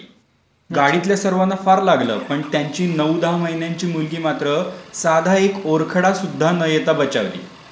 गाडीतील सर्वांना फार लागलं. पण त्यांची नऊ दहा महिन्यांची मुलगी मात्र साधा एक ओरखडा सुद्धा न येता बचावली.